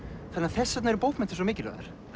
þess vegna eru bókmenntir svo mikilvægar